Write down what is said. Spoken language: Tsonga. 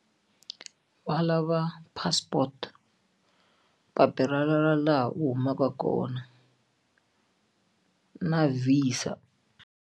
Va lava passport papila ra laha u humaka kona na VISA.